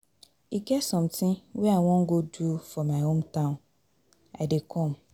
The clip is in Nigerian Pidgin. E get something wey I wan go do for my hometown, I dey come.